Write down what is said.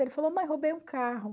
Ele falou, mãe, roubei um carro.